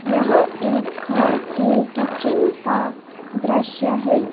यह एक घर के किचेन का दृश्य है।